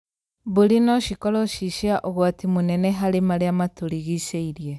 Mbũri no cikorwo ci cia ũgwati mũnene harĩ marĩa matũrigicĩirie